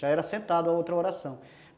Já era sentado a outra oração.